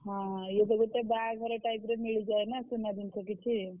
ହଁ ଇଏ ତ ଗୋଟେ ବାହାଘର type ର ମିଳିଯାଏ ନା ସୁନା ଜିନିଷ କିଛି।